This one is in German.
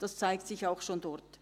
Dies zeigt sich auch schon dort.